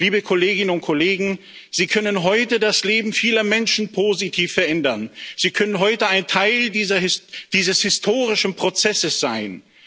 Liebe Kolleginnen und Kollegen, Sie können heute das Leben vieler Menschen positiv verändern, Sie können heute ein Teil dieses historischen Prozesses sein.